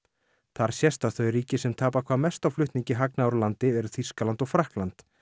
þar sést að þau ríki sem tapa hvað mest á flutningi hagnaðar úr landi eru Þýskaland og Frakkland